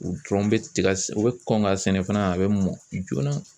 U dɔrɔn bɛ tiga u bɛ kɔn ka sɛnɛ fana a bɛ mɔ joona